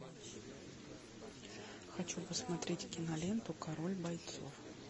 хочу посмотреть киноленту король бойцов